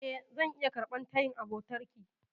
E, zan iya karɓar tayin abotarki.